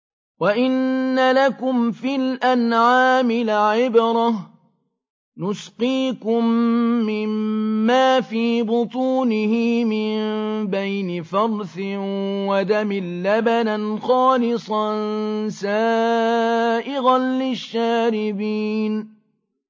وَإِنَّ لَكُمْ فِي الْأَنْعَامِ لَعِبْرَةً ۖ نُّسْقِيكُم مِّمَّا فِي بُطُونِهِ مِن بَيْنِ فَرْثٍ وَدَمٍ لَّبَنًا خَالِصًا سَائِغًا لِّلشَّارِبِينَ